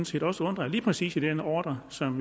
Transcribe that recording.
set også undre at lige præcis i den ordre som